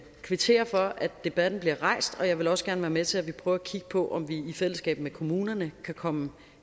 kvittere for at debatten bliver rejst og jeg vil også gerne være med til at vi prøver at kigge på om vi i fællesskab med kommunerne kan komme